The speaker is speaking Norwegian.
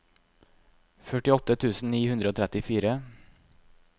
førtiåtte tusen ni hundre og trettifire